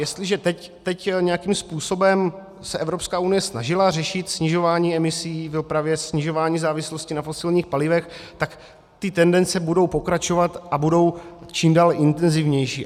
Jestliže teď nějakým způsobem se Evropská unie snažila řešit snižování emisí v dopravě, snižování závislosti na fosilních palivech, tak ty tendence budou pokračovat a budou čím dál intenzivnější.